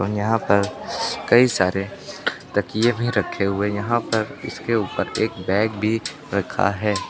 यहां पर कई सारे तकिए भी रखे हुए है यहां पर इसके ऊपर एक बैग भी रखा हैं।